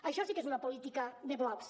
això sí que és una política de blocs